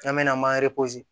N'an mɛna an